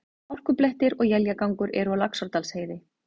Hálkublettir og éljagangur eru á Laxárdalsheiði